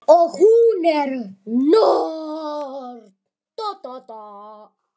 Og hún er norn.